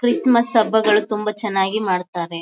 Chris ಮಸ್ ಹಬ್ಬ ಗಳು ತುಂಬ ಚನಾಗಿ ಮಾಡ್ತಾರೆ.